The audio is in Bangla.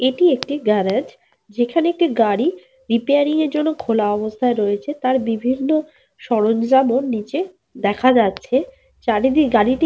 এটি একটি গ্যারেজ । যেখানে একটি গাড়ি রিপেয়ারিং এর জন্য খোলা অবস্থায় রয়েছে। তার বিভিন্ন সরঞ্জাম ও নিচে দেখা যাচ্ছে। চারিদিকে গাড়িটি।